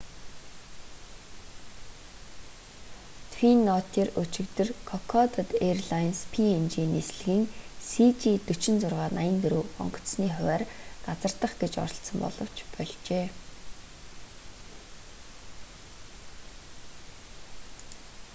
твин оттер өчигдөр кокодад эйрлайнс png нислэгийн cg4684 онгоцны хувиар газардах гэж оролдсон боловч больжээ